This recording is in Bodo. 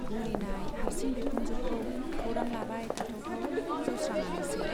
बुरिनाय हार्सिं बिखुनजौखौ खौरां लाबाय थाथावथाव जौस्रांआनोसै।